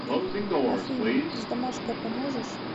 афина с домашкой поможешь